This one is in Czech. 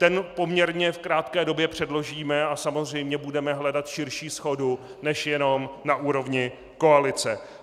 Ten poměrně v krátké době předložíme a samozřejmě budeme hledat širší shodu než jenom na úrovni koalice.